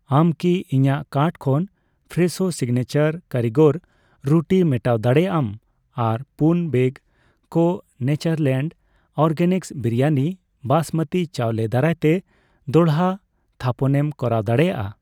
ᱟᱢ ᱠᱤ ᱤᱧᱟᱜ ᱠᱟᱨᱴ ᱠᱷᱚᱱ ᱯᱷᱨᱮᱥᱳ ᱥᱤᱜᱱᱮᱪᱟᱨ ᱠᱟᱨᱤᱜᱚᱨ ᱨᱩᱴᱤ ᱢᱮᱴᱟᱣ ᱫᱟᱲᱮᱭᱟᱜ ᱟᱢ ᱟᱨ ᱯᱩᱱ ᱵᱮᱜ ᱠᱚ ᱱᱮᱪᱟᱨᱞᱮᱱᱰ ᱚᱨᱜᱮᱱᱤᱠᱥ ᱵᱤᱨᱤᱭᱟᱱᱤ ᱵᱟᱸᱥᱢᱚᱛᱤ ᱪᱟᱣᱞᱮ ᱫᱟᱨᱟᱭᱛᱮ ᱫᱚᱲᱦᱟ ᱛᱷᱟᱯᱚᱱᱮᱢ ᱠᱚᱨᱟᱣ ᱫᱟᱲᱮᱭᱟᱜᱼᱟ ᱾